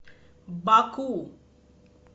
баку